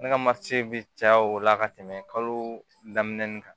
Ne ka bɛ caya o la ka tɛmɛ kalo daminɛnin kan